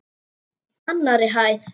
Annarri hæð.